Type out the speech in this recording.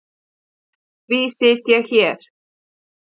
Því sit ég hér.